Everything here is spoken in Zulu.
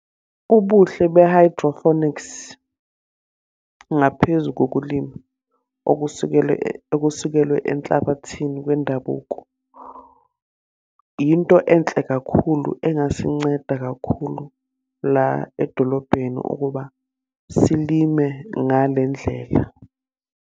Ubuhle be-hydrophonics ngaphezu kokulima, okusekele okusekelwe enhlabathini kwendabuko. Into enhle kakhulu engasinceda kakhulu la edolobheni ukuba silime ngale ndlela.